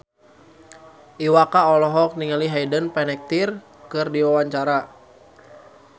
Iwa K olohok ningali Hayden Panettiere keur diwawancara